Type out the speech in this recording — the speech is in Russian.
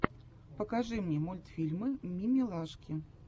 покажи мне мультфильмы мимилашки